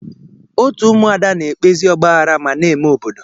Otu ụmụada na-ekpezi ọgbaaghara ma na-eme udo.